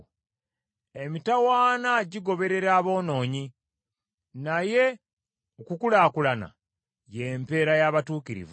Emitawaana gigoberera aboonoonyi, naye okukulaakulana y’empeera y’abatuukirivu.